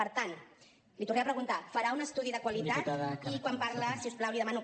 per tant l’hi tornem a preguntar farà un estudi de qualitat i quan parla si us plau li demano